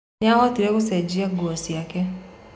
Nĩahotire gũcenjia nguo ciake.